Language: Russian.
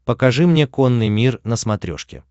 покажи мне конный мир на смотрешке